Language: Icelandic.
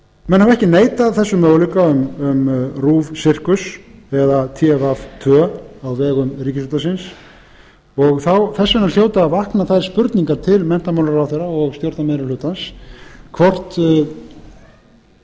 menn hafa ekki neitað þessum möguleika um rúv sirkus eða tv tvö á vegum ríkisútvarpsins og þess vegna hljóta að vakna þær spurningar til menntamálaráðherra og stjórnarmeirihlutans hvort stjórnarliðið